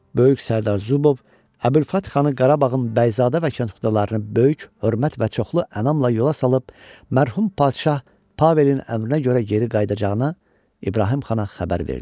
Böyük Sərdar Zubov Əbülfət xanı Qarabağın bəyzadə və kətxudalarını böyük hörmət və çoxlu ənamla yola salıb mərhum padşah Pavelin əmrinə görə geri qayıdacağına İbrahim xana xəbər verdi.